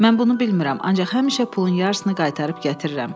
Mən bunu bilmirəm, ancaq həmişə pulun yarısını qaytarıb gətirirəm.